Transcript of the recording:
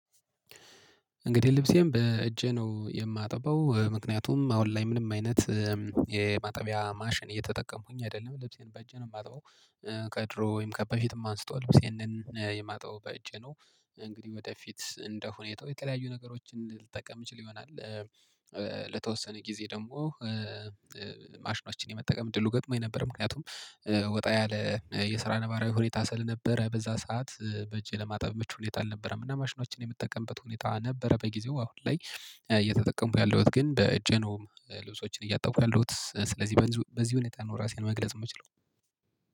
እንግዲህ ልብሴም በእጄ ነው የማጠበው። ምክንያቱም አሁን ላይ ምንም አይነት የማጠቢያ ማሽን እየተጠቀምኩኝ አይደለም። ልብሴን በእጄ ነው የማጥበው። ከድሮ ወይም ከበፊትም አንስቶ ልብሴን የማጥበው በእጄ ነው። እንግዲህ ወደፊት እንደሁኔታው የተያዩ ነገሮችን ልጠቀም እችል ይሆናል። ለተወሰነ ጊዜ ደግሞ ማሽኖችን የመጠቀም ድሉ ገጥሞኝ ነበር። ምክንያቱም ወጣ ያለ የስራ ነባራዊ ሁኔታ ስል ነበረ በዛ ሰዓት በእጄ ለማጠብ ምቹ ሁኔታ አልነበረም። እና መሽኖችን የምጠቀምበት ሁኔታ ነበረ በጊዜው። አሁን ላይ እየተጠቀምኩ ያለሁት ግን በእጄ ነው ልብሶችን እያጠብኩ ያለሁት ስለዚህ በዚህ ሁኔታ ነው ራሴን መግለጽ የምችለው።